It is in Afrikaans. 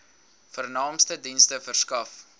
vernaamste dienste verskaf